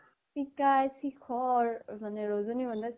মানে পিকাই শিখৰ, ৰজনীগন্ধা